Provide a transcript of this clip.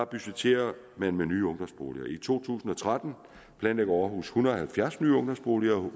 budgetterer man med nye ungdomsboliger i to tusind og tretten planlægger aarhus en hundrede og halvfjerds nye ungdomsboliger